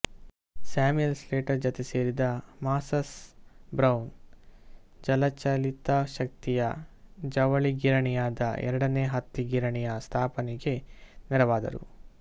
Samuel Slater ಜತೆ ಸೇರಿದ Moses Brown ಜಲಚಾಲಿತಶಕ್ತಿಯ ಜವಳಿ ಗಿರಣಿಯಾದ ಎರಡನೇ ಹತ್ತಿ ಗಿರಣಿಯ ಸ್ಥಾಪನೆಗೆ ನೆರವಾದರು